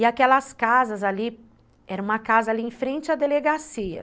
E aquelas casas ali, era uma casa ali em frente à delegacia.